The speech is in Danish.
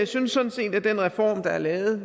synes sådan set at den reform der er lavet